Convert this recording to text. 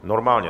Normálně.